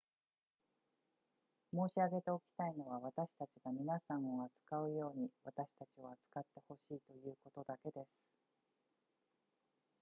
申し上げておきたいのは私たちが皆さんを扱うように私たちを扱って欲しいということだけです